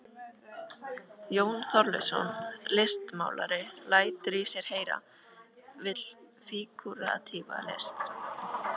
Jón Þorleifsson listmálari lætur í sér heyra, vill fígúratíva list.